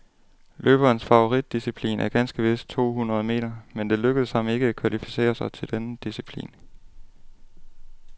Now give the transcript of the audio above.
Løberens favoritdisciplin er ganske vist to hundrede meter, men det lykkedes ham ikke at kvalificere sig til denne disciplin.